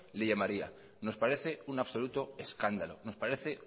le llamaría nos parece un absoluto escándalo nos parece